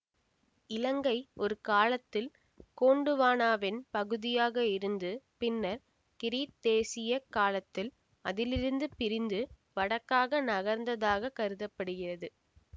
இலங்கை ஒரு காலத்தில் கோண்டுவானாவின் பகுதியாக இருந்து பின்னர் கிரீத்தேசிய காலத்தில் அதிலிருந்து பிரிந்து வடக்காக நகர்ந்ததாகக் கருத படுகிறது